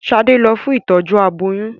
Ṣade lọ fún Ìtọ́jú aboyún.